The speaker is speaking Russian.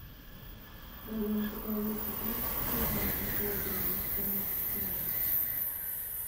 в твоем каталоге есть фильмы виталия мухаметзянова